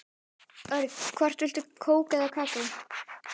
Örn, hvort viltu kók eða kakó?